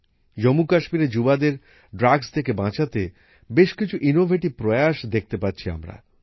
জম্মু কাশ্মীরের যুবকযুবতীদের ড্রাগস থেকে বাঁচাতে বেশ কিছু উদ্ভাবনমূলক প্রয়াস দেখতে পাচ্ছি আমরা